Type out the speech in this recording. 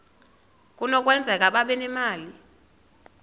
kunokwenzeka babe nemali